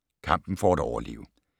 Kampen for at overleve